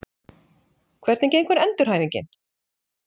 Hvernig gengur endurhæfingin?